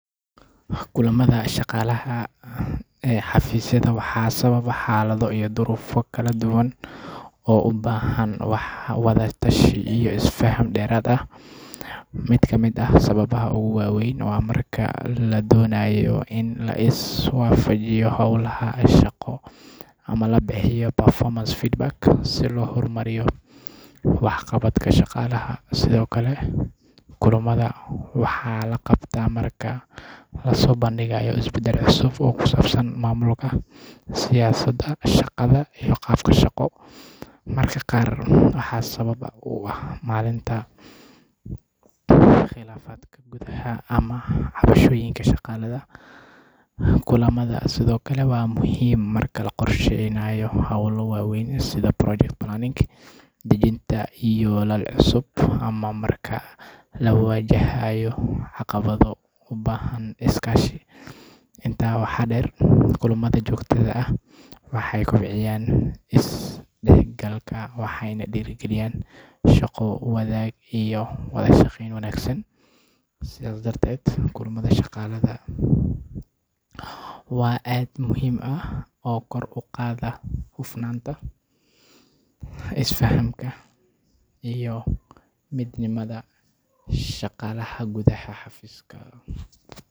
Maxaa ugu badan ee keena in dadka shir isugu yimaadaan xafiisyada waa baahida wadaagga fikradaha iyo qorsheynta hawlaha shaqo ee muhiimka ah. Marka la isku yimaado, waxaa la heli karaa fursad lagu wada hadlo, lagu is weydiiyo su’aalo, laguna xalliyo dhibaatooyin ka jira shaqada. Sidoo kale, shirarka xafiisyada waxay u fududeeyaan shaqaalaha inay iska warqabaan horumarka mashruucyada kala duwan, isla markaana ay ka wada tashadaan sida loo gaari karo yoolalka la hiigsanayo. Waxaa kale oo muhiim ah in shirarka lagu dhiirrigeliyo isdhexgalka iyo wada shaqeynta kooxaha kala duwan, taas oo sare u qaada wax soo saarka iyo tayada shaqada.